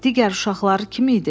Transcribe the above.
Digər uşaqlar kim idi?